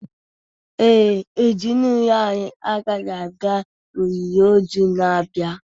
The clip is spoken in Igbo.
Ee e, ezinụlọ anyị agaghị aga olili ozu na-abịa